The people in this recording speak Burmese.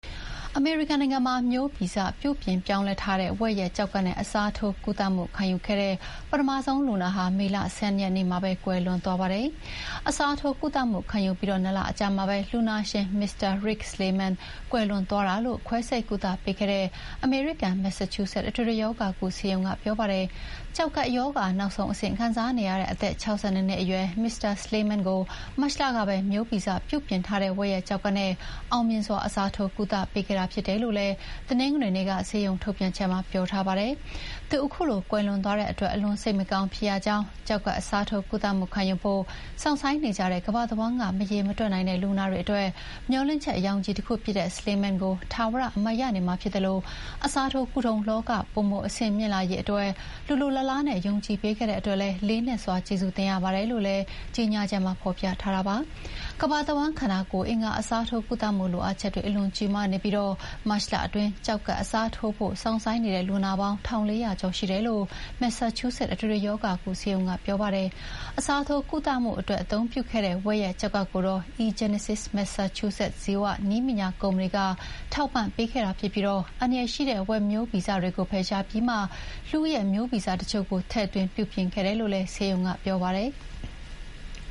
အမေရိကန်နိုင်ငံမှာ မျိုးဗီဇပြုပြင်ပြောင်းလဲထားတဲ့ ဝက်ရဲ့ကျောက်ကပ်နဲ့ အစားထိုးကုသမှုခံယူခဲ့တဲ့ ပထမဆုံးလူနာဟာ မေလ ၁၂ ရက်နေ့မှာပဲ ကွယ်လွန်သွားပါတယ်။ အစားထိုးကုသမှုခံယူပြီး ၂ လအကြာမှာပဲ လူနာဖြစ်သူ Mr. Rick Slayman ကွယ်လွန်သွားတာလို့ ခွဲစိတ်ကုသပေးခဲ့တဲ့ အမေရိကန် မက်ဆာချူးဆက် အထွေထွေရောဂါကုဆေးရုံကပြောပါတယ်။ ကျောက်ကပ်ရောဂါနောက်ဆုံးအဆင့်ခံစားနေရတဲ့ အသက် ၆၂ နှစ်အရွယ် Mr Slayman ကို မတ်လကပဲ မျိုးဗီဇပြုပြင်ထားတဲ့ ဝက်ရဲ့ကျောက်ကပ်နဲ့ အောင်မြင်စွာအစားထိုးကုသပေးခဲ့တာဖြစ်တယ်လို့လည်း တနင်္ဂနွေနေ့ထုတ် ဆေးရုံထုတ်ပြန်ချက်မှာ ပြောထားပါတယ်။ သူ ခုလိုကွယ်လွန်သွားတဲ့အတွက် အလွန်စိတ်မကောင်းဖြစ်ရကြောင်း၊ ကျောက်ကပ်အစားထိုးကုသမှုခံယူဖို့စောင့်ဆိုင်းနေကြတဲ့ ကမ္ဘာတဝန်းက မရေမတွက်နိုင်တဲ့လူနာတွေအတွက် မျှော်လင့်ချက်ရောင်ခြည်တခုအဖြစ်နဲ့ Slayman ကို ထာဝရအမှတ်ရနေမှာဖြစ်သလို အစားထိုးကုထုံးလောက ပိုမိုအဆင့်မြင့်လာရေးအတွက် လိုလိုလားလားနဲ့ ယုံကြည်ပေးခဲ့တဲ့အတွက်လည်း လေးနက်စွာကျေးဇူးတင်ရပါတယ်လို့လည်း ကြောညာချက်မှာ ဖော်ပြထားတာပါ။ ကမ္ဘာတဝန်း ခန္ဓာကိုဘ်အင်္ဂါအစားထိုးကုသမှုလိုအပ်ချက် အလွန်ကြီးမားနေပြီး မတ်လအတွင်း ကျောက်ကပ်အစားထိုးဖို့စောင့်ဆိုင်းနေတဲ့လူနာပေါင်း ၁,၄၀၀ ကျော်ရှိတယ်လို့ မက်ဆာချူးဆက် အထွေထွေရောဂါကုဆေးရုံကပြောပါတယ်။ အစားထိုးကုသမှုအတွက်အသုံးပြုခဲ့တဲ့ ဝက်ကျောက်ကပ်ကို eGenesis မက်ဆာချူးဆက်ဇီဝနည်းပညာကုမ္ပဏီက ထောက်ပံ့ပေးခဲ့ပြီး အန္တရာယ်ရှိတဲ့ဝက်မျိုးဗီဇတွေကိုဖယ်ရှားပြီးမှ လူရဲ့မျိုးဗီဇအချို့ကို ထည့်သွင်း ပြုပြင်ခဲ့တယ်လို့လည်း ဆေးရုံက ပြောပါတယ်။